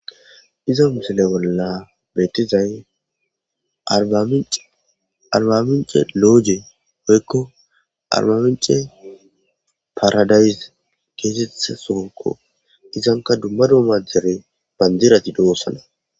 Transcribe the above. iza misile bolla beetizay arbamince looje hoykko arbamince paradaysi keesethe soonko izanka dumma dumma dere bandirati doossana